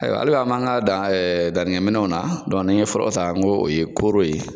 Ayiwa hali bi an m'an ka dan dannikɛ minɛn na dɔn nin n ye fɔlɔ ta n ko o ye kooro ye.